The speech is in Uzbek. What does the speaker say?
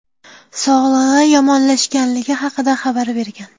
sog‘ligi yomonlashganligi haqida xabar bergan.